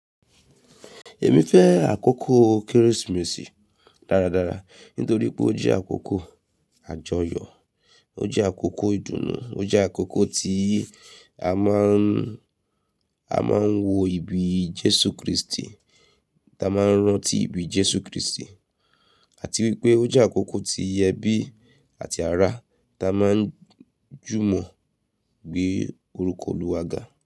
Èmi fẹ́ àkókò Kérésìmesì dáradára nítorí pé ó jẹ́ àkókò àjọyọ̀, ó jẹ́ àkókò ìdùnnú, ó jẹ́ àkókò tí a máa ń, a máa ń wo ibi Jésù Kristi, tá a máa ń rántí ibi Jésù Kristi àti wípé ó jẹ́ àkókò tí ẹbí àti ará tá a máa ń jùmọ̀ gbé orúkọ Olúwa ga.